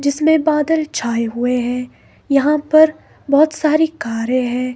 जिसमें बादल छाए हुए हैं यहां पर बहुत सारी कारें हैं।